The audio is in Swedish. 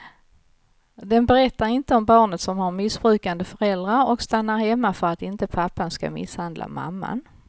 Den berättar inte om barnet som har missbrukande föräldrar och stannar hemma för att inte pappan ska misshandla mamman.